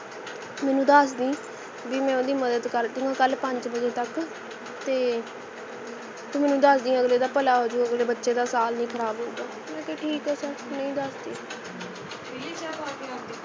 ਮੈਨੂੰ ਦਸਦੀ ਬੀ ਮੈਂ ਓਹਦੀ ਮਦਦ ਕਰਦੁਗਾ ਕਲ ਪੰਜ ਬਜੇ ਤਕ ਤੇ ਤੂੰ ਮੈਨੂੰ ਦਸਦੀ ਅਗਲੇ ਦਾ ਭਲਾ ਹੋਜੂ ਅਗਲੇ ਬਚੇ ਦਾ ਸਾਲ ਨਹੀਂ ਖਰਾਬ ਹੋਏਗਾ ਮੈਂ ਕਿਹਾ ਠੀਕ ਹੈ sir ਨਹੀਂ ਦਸਦੀ